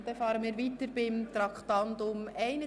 Wir fahren weiter mit Traktandum 31.